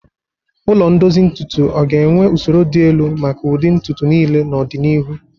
Ụlọ ndozi ntutu o ga-enwe usoro dị elu maka ụdị ntutu niile n'ọdịnihu?